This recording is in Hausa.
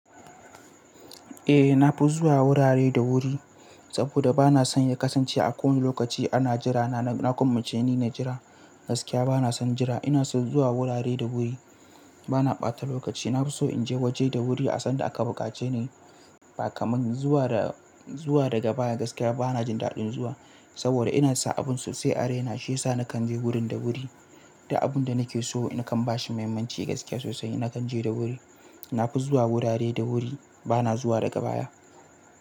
Eh, na fi zuwa wurare da wuri saboda ba na son ya kasance a kowane lokaci ana jira. Na na gwanmace ni na jira gaskiya ba na son jira. Ina son zuwa wurare da wuri, ba na ɓata lokaci. Na fi so in je waje da wuri a san da aka buƙace ni. Bakamin zuwa da zuwa daga baya gaskiya ba na jin daɗin zuwa saboda ina sa abun sosai a raina shi yasa na kan je wurin da wuri. Da abun da nake so in kan bashi muhimmanci gaskiya sosai, na kan je da wuri. Na fi zuwa wurare da wuri, ba na zuwa daga baya.